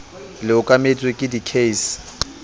le okametswe ke di case